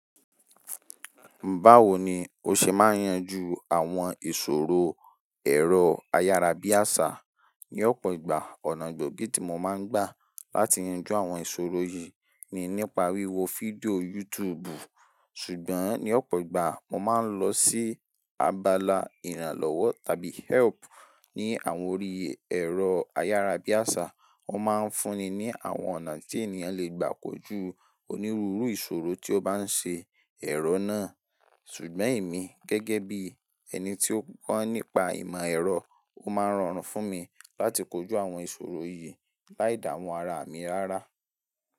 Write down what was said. Báwo ni o ṣe máa yenjú àwọn ìṣòro ẹ̀rọ ayárabíàṣá? Ní ọ̀pọ̀ ìgbà, ọ̀nà gbòógì tí mo máa ń gbà láti yanjú àwọn ìṣòro yìí ni nípa wíwo fídíò YouTube. Ṣùgbọ́n ní ọ̀pọ̀ ìgbà, mo máa ń lọ sí abala ìrànlọ́wọ́ tàbí help ní àwọn orí ẹ̀rọ ayárabíàṣá. Wọ́n máa ń fúnni ní àwọn ọ̀nà tí ènìyàn le gbà kojú onírúurú ìṣòro tí ó bá ń ṣe ẹ̀rọ náà. Ṣùgbọ́n èmi gẹ́gẹ́ bí ẹni tí ó kọ́ nípa ìmọ̀ ẹ̀rọ, ó máa ń rọrùn fún mi láti kojú àwọn ìṣòro yìí láì damu ara mi rárá.